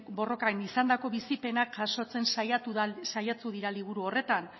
borrokan izandako bizipenak jasotzen saiatu dira liburu horretan